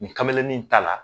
Nin kamelenin in ta la.